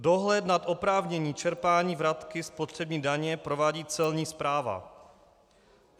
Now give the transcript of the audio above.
Dohled nad oprávněním čerpání vratky spotřební daně provádí Celní správa.